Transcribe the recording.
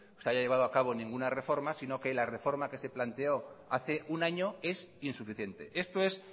se haya llevado a cabo ninguna reforma sino que la reforma que se planteó hace un año es insuficiente esto es